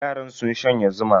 Yaran sun shanye zuma.